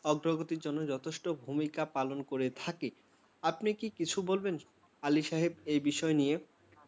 অগ্রগতির জন্য অনেক গুরুত্বপূর্ণ ভূমিকা পালন করে থাকে। আপনি কি এই বিষয় নিয়ে কিছু বলবেন, আলি সাহেব?